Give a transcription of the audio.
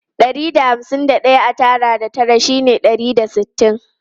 Ɗari da hamsin da ɗaya a tara da tara shine ɗari da sittin.